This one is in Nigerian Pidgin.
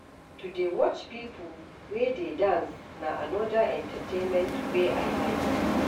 To dey watch pipo wey dey dance na anoda entertainment wey I like.